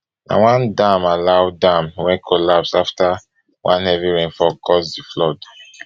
na one dam alau dam wey collapse afta one heavy rainfall cause di flood